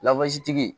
tigi